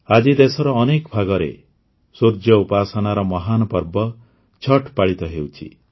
ଆଜି ଦେଶର ଅନେକ ଭାଗରେ ସୂର୍ଯ୍ୟ ଉପାସନାର ମହାନ ପର୍ବ ଛଠ୍ ପାଳିତ ହେଉଛି